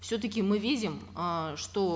все таки мы видим э что